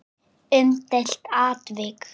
Umdeilt atvik?